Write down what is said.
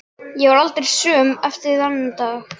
Ég varð aldrei söm eftir þann dag.